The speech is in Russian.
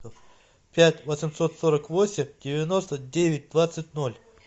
пять восемьсот сорок восемь девяносто девять двадцать ноль